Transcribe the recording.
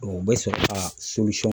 O bɛ sɔrɔ ka